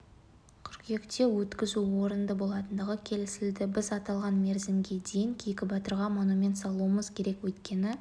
қыркүйекте өткізу орынды болатындығы келісілді біз аталған мерзімге дейін кейкі батырға монумент салуымыз керек өйткені